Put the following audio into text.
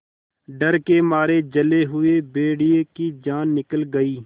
डर के मारे जले हुए भेड़िए की जान निकल गई